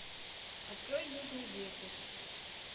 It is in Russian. открой южный ветер